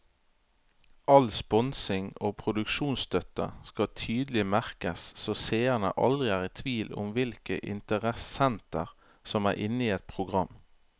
All sponsing og produksjonsstøtte skal tydelig merkes så seerne aldri er i tvil om hvilke interessenter som er inne i et program.